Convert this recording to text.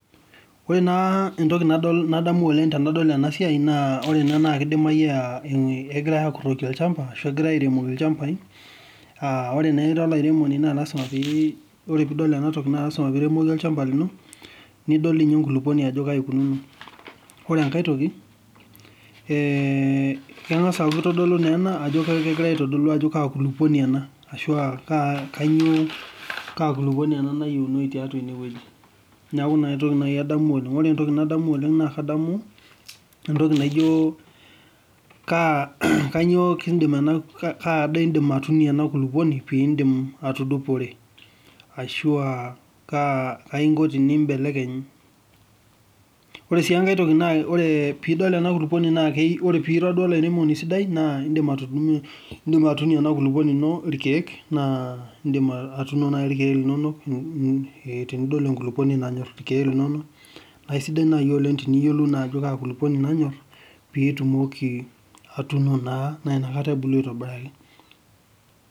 Ore naa entoki nadamu oleng tenadol ena siaai naa ore ena naa kidimayu naa kegirae aakurroki olchamba, Ashu kegirae aairemoki olchamba naa ore naa ira olairemoni naa ore piidol enatoki naa lazima pii remoki olchamba lino, nidol dii ninye enkulupuoni ajo kaji ikununo. Ore enkae kengas ninye ena aitodolu ajo kaa kulupuoni ena nayieuni tiaatua ene wueji neeku naa kaitadamu ajo naa kadamu ajo kaa daa indim aatuunie ena kulupuoni ashuu kainyioo kaakop indim anotie ena kulupuoni ashuu kaingo piimbelekeny ore sii enkae naa ore paa ira duoo olairemoni sidai naa indim atuuno irkeek tena kulupuoni tenidol enkulupuoni nanyorr irkeek linono, naa isidai naa teniyiolou ina kulupuoni pee etumoki naa atubulu aaitobiraki.